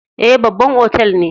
Eh, babban otal ne.